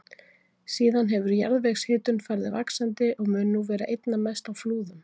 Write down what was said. Síðan hefur jarðvegshitun farið vaxandi og mun nú vera einna mest á Flúðum.